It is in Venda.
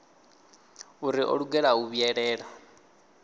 uri o lugela u vhuyelela